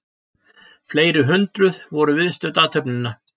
Fleiri hundruð voru viðstödd athöfnina